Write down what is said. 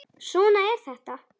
Svona er þetta.